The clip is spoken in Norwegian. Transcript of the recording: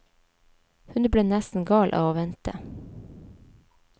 Hun ble nesten gal av å vente.